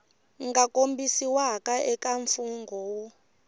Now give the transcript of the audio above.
nga kombisiwa eka mfungho wu